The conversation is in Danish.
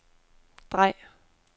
drej